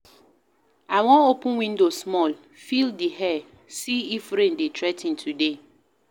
I wan open window small, feel di air, see if rain dey threa ten today.